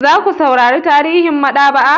Za ku saurara tarihin maɗaba'a?